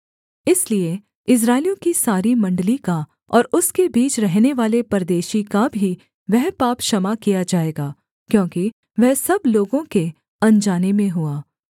इसलिए इस्राएलियों की सारी मण्डली का और उसके बीच रहनेवाले परदेशी का भी वह पाप क्षमा किया जाएगा क्योंकि वह सब लोगों के अनजाने में हुआ